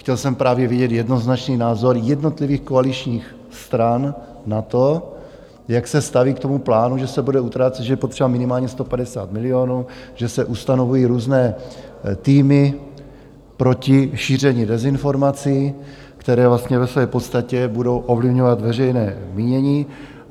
Chtěl jsem právě vidět jednoznačný názor jednotlivých koaličních stran na to, jak se staví k tomu plánu, že se bude utrácet, že je potřeba minimálně 150 milionů, že se ustanovují různé týmy proti šíření dezinformací, které vlastně ve své podstatě budou ovlivňovat veřejné mínění.